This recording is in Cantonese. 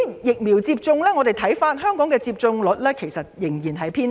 疫苗接種方面，香港的接種率仍然偏低。